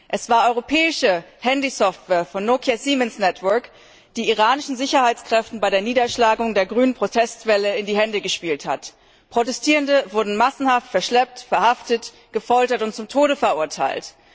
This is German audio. Es war europäische Handysoftware von Nokia Siemens Networks, die iranischen Sicherheitskräften bei der Niederschlagung der grünen Protestwelle in die Hände gespielt hat. Protestierende wurde massenhaft verschleppt, verhaftet, gefoltert und zum Tode verurteilt.